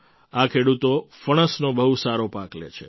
આ ખેડૂતો ફણસનો બહુ સારો પાક લે છે